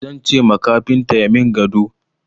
Zan ce ma kafinta ya min gado.